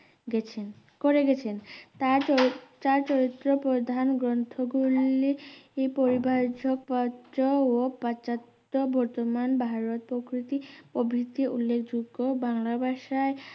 গেছেন করেগেছেন তার তার চরিত প্রধান গ্রন্থ গুলি পরিবার্যক পত্র ও পচাত বর্তমান ভারত প্রকৃতি প্রভীতি উল্লেখযোগ্য বাংলা ভাষায়